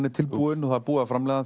er tilbúin og er búið að framleiða